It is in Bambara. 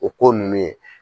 O ko nunnu ye.